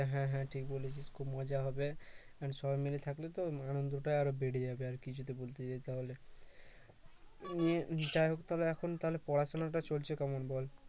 হ্যাঁ হ্যাঁ হ্যাঁ ঠিক বলেছিস খুব মজা হবে and সবাই মিলে থাকলে তো আনন্দটা আরো বেড়ে যাবে আরকি যদি ঘুরতে যাই তাহলে এখন তাহলে পড়াশোনাটা চলছে কেমন বল